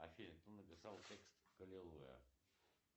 афина кто написал текст к аллилуйя